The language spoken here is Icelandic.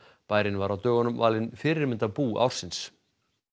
bærinn var á dögunum valinn fyrirmyndarbú ársins